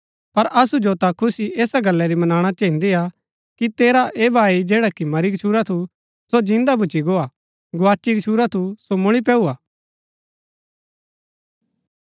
पर असु जो ता खुशी ऐसा गल्ला री मनाणा चहिन्दी कि तेरा ऐह भाई जैडा मरी गछूरा थू सो जिन्दा भूच्ची गो हा गोआची गछूरा थू सो मुळी पैऊआ